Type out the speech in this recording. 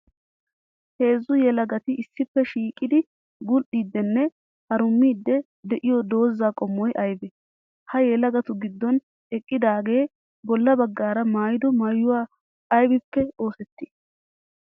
Heezzu yelagatti issippe shiiqiddi bul'iddinne harummiddi de'iyo dooza qommoy aybbe? Ha yelagattu gidon eqqidaage bolla bagara maayido maayoy aybbippe oosetti?